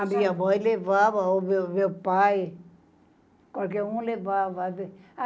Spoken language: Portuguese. A minha mãe levava, ou o o meu pai, qualquer um levava.